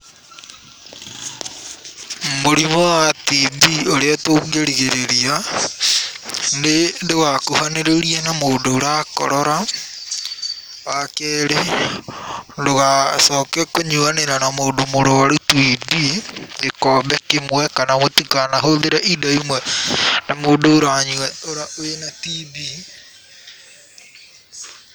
Mũrimũ wa TB ũrĩa tũngĩrigĩrĩria, nĩ ndũgakuhanĩrĩrie na mũndũ ũrakorora, wa kerĩ, ndũgacoke kũnyuanĩra na mũndũ mũrwaru TB gĩkombe kĩmwe, kana mũtikanahũthĩre indo imwe na mũndũ ũranyua, wĩna TB.